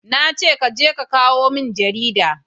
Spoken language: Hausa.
na ce ka je ka kawo min jarida!